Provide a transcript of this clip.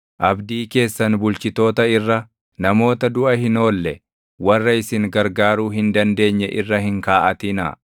Abdii keessan bulchitoota irra, namoota duʼa hin oolle // warra isin gargaaruu hin dandeenye irra hin kaaʼatinaa.